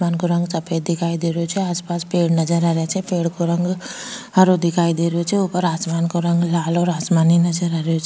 आसमान को रंग सफ़ेद दिखाई दे रियो छे आस पास पेड़ नजर आ रिया छे पेड़ को रंग हरो दिखाई दे रहियो छे ऊपर आसमान को रंग लाल और आसमानी नजर आ रहियो छे।